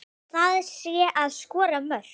Það sé að skora mörk.